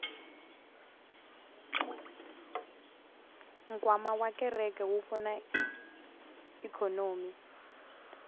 nkwama wa kereke wu pfuna ikhonomi